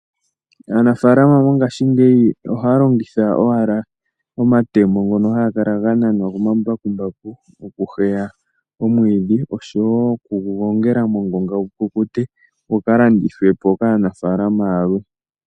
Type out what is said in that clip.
Aanafaalama mongashiingeyi ohaya longitha owala omatemo ngono haga kala ga nanwa komambakumbaku oku heya omwiidhi oshowoo okugugongela moongonga gukukute gukalandithwe po kaanafaalama yalwe.